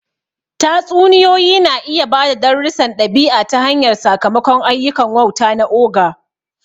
Tatsuniyoyi na iya ba da darussan ɗabi'a ta hanyar sakamakon ayyukan wauta na ogre.